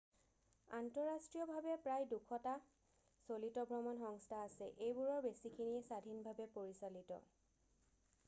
আন্তঃৰাষ্ট্ৰীয়ভাৱে প্ৰায় 200টা চলিত ভ্ৰমণ সংস্থা আছে এইবোৰৰ বেছিখিনিয়েই স্বাধীনভাৱে পৰিচালিত